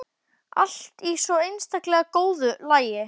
Allt í svo einstaklega góðu lagi.